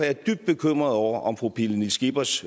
er dybt bekymret over om fru pernille skippers